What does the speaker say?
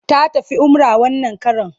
Ta tafi umrah wannan karon.